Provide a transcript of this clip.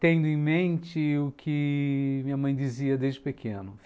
Tendo em mente o que minha mãe dizia desde pequeno.